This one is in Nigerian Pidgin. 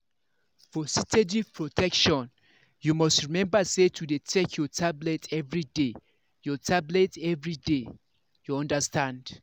for steady protection you must remember to dey take your tablet everyday. your tablet everyday. you understand